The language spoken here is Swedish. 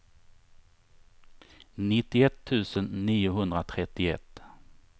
nittioett tusen niohundratrettioett